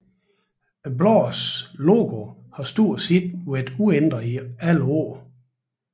Bladets logo har stort set været uændret i alle årene